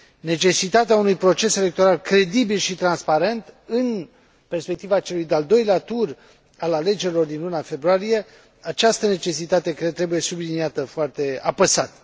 Necesitatea unui proces electoral credibil și transparent, în perspectiva celui de al doilea tur al alegerilor din luna februarie, trebuie subliniată foarte apăsat.